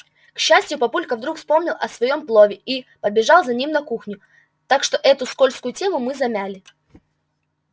к счастью папулька вдруг вспомнил о своём плове и побежал за ним на кухню так что эту скользкую тему мы замяли